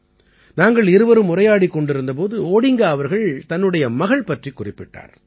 நாங்கள் இருவரும் உரையாடிக் கொண்டிருந்த போது ஓடிங்கா அவர்கள் தன்னுடைய மகள் பற்றிக் குறிப்பிட்டார்